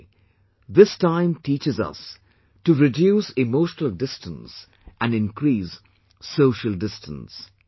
In a way, this time teaches us to reduce emotional distance and increase social distance